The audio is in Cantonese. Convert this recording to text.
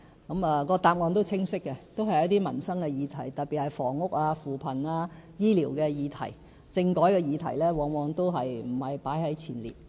他們的答案是清晰的，都是一些民生的議題，特別是房屋、扶貧及醫療的議題，政改的議題往往不在前列。